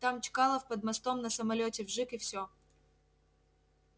там чкалов под мостом на самолёте вжиг и все